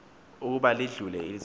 ukuba lidlule izulu